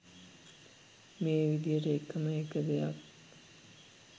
මේ විදියට එකම එක දෙයක්